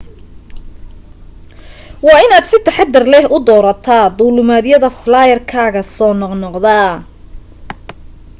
waa in aad si taxaddar leh u doorataa duulimaadyada flyer-kaaga soo noqnoqda